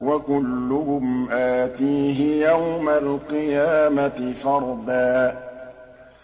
وَكُلُّهُمْ آتِيهِ يَوْمَ الْقِيَامَةِ فَرْدًا